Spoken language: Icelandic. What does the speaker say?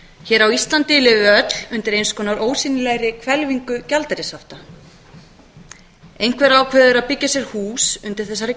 hér á íslandi lifum við öll undir eins konar ósýnilegri hvelfingu gjaldeyrishafta einhver ákveður að byggja sér hús undir þessari